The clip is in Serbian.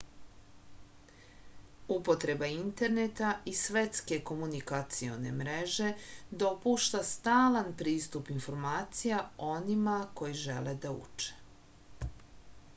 upotreba interneta i svetske komunikacione mreže dopušta stalan pristup informacija onima koji žele da uče